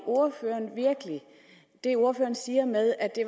det ordføreren siger med at det